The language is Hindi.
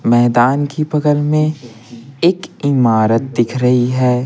मैदान की बगल में एक इमारत दिख रही है।